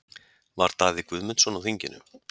Var Daði Guðmundsson á þinginu?